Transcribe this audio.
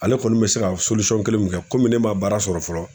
Ale kɔni bɛ se ka kelen mun kɛ kɔmi ne ma baara sɔrɔ fɔlɔ.